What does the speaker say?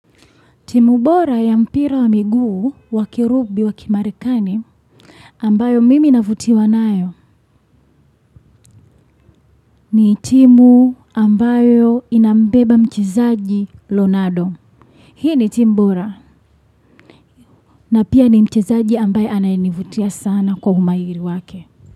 Timu bora ya mpira wa miguu wa kirugby wa kimarekani ambayo mimi navutiwa nayo ni timu ambayo inambeba mchezaji Ronaldo. Hii ni timu bora na pia ni mchezaji ambaye anayenivutia sana kwa umahiri wake.